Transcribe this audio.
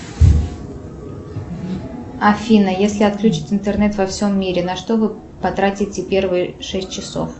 афина если отключить интернет во всем мире на что вы потратите первые шесть часов